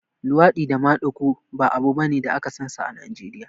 luwaɗi da maɗigo ba abu bane da aka sansa a Najeriya